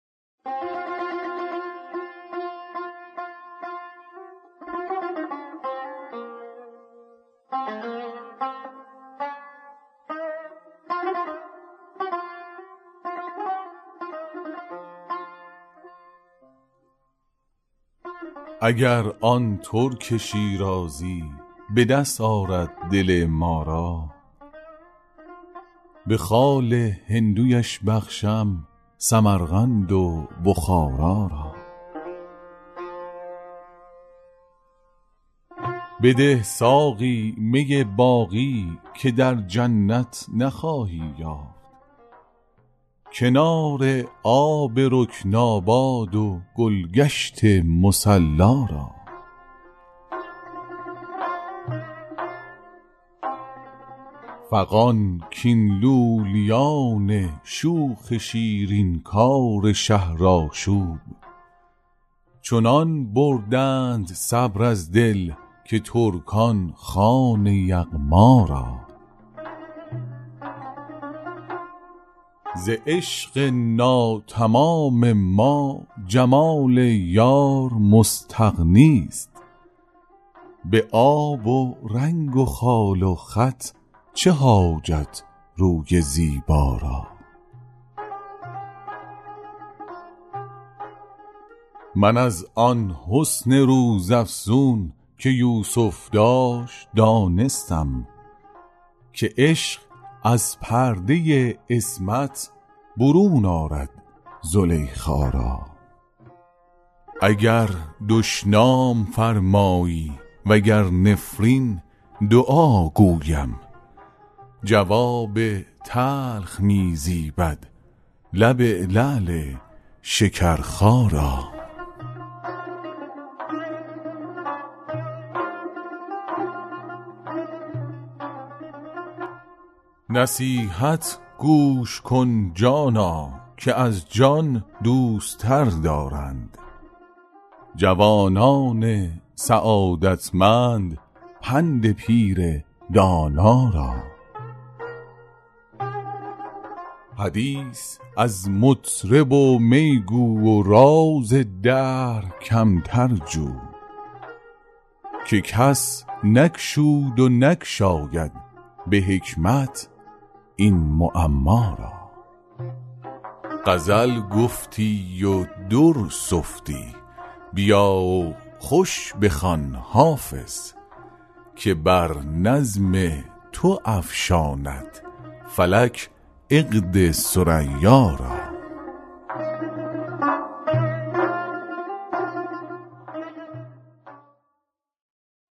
اگر آن ترک شیرازی به دست آرد دل ما را به خال هندویش بخشم سمرقند و بخارا را بده ساقی می باقی که در جنت نخواهی یافت کنار آب رکناباد و گل گشت مصلا را فغان کاین لولیان شوخ شیرین کار شهرآشوب چنان بردند صبر از دل که ترکان خوان یغما را ز عشق ناتمام ما جمال یار مستغنی است به آب و رنگ و خال و خط چه حاجت روی زیبا را من از آن حسن روزافزون که یوسف داشت دانستم که عشق از پرده عصمت برون آرد زلیخا را اگر دشنام فرمایی و گر نفرین دعا گویم جواب تلخ می زیبد لب لعل شکرخا را نصیحت گوش کن جانا که از جان دوست تر دارند جوانان سعادتمند پند پیر دانا را حدیث از مطرب و می گو و راز دهر کمتر جو که کس نگشود و نگشاید به حکمت این معما را غزل گفتی و در سفتی بیا و خوش بخوان حافظ که بر نظم تو افشاند فلک عقد ثریا را